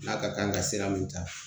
N'a ka kan ka sira min ta